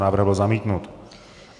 Návrh byl zamítnut.